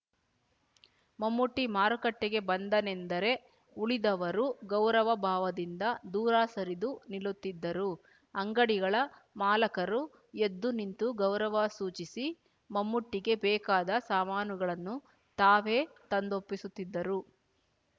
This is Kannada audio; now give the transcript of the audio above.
ಮೊಮ್ಮೂಟಿ ಮಾರುಕಟ್ಟೆಗೆ ಬಂದನೆಂದರೆ ಉಳಿದವರು ಗೌರವ ಭಾವದಿಂದ ದೂರ ಸರಿದು ನಿಲ್ಲುತ್ತಿದ್ದರು ಅಂಗಡಿಗಳ ಮಾಲಕರು ಎದ್ದು ನಿಂತು ಗೌರವ ಸೂಚಿಸಿ ಮಮ್ಮೂಟಿಗೆ ಬೇಕಾದ ಸಾಮಾನುಗಳನ್ನು ತಾವೇ ತಂದೊಪ್ಪಿಸುತ್ತಿದ್ದರು